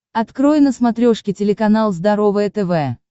открой на смотрешке телеканал здоровое тв